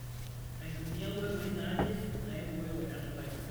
Aitumia nkoitoi naaje naibooyo enutai.